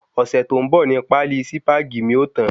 Ọ̀sẹ̀ tó ń bò ni páálí Sípàgì mi o tan